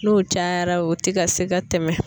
N'o cayara o ti ka se ka tɛmɛ.